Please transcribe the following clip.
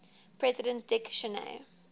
president dick cheney